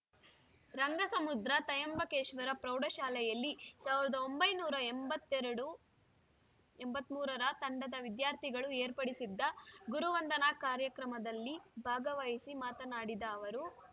ರಂಗಸಮುದ್ರ ತೈಯಂಬಕೇಶ್ವರ ಪ್ರೌಢಶಾಲೆಯಲ್ಲಿ ಸಾವಿರದ ಒಂಬೈನೂರ ಎಂಬತ್ತೆರಡು ಎಂಬತ್ತ್ ಮೂರರ ತಂಡದ ವಿದ್ಯಾರ್ಥಿಗಳು ಏರ್ಪಡಿಸಿದ್ದ ಗುರುವಂದನಾ ಕಾರ್ಯಕ್ರಮದಲ್ಲಿ ಭಾಗವಹಿಸಿ ಮಾತನಾಡಿದ ಅವರು